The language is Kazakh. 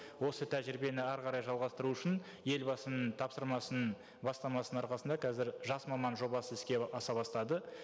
осы тәжірибені әрі қарай жалғастыру үшін елбасының тапсырмасының бастамасының арқасында қазір жас маман жобасы іске аса бастады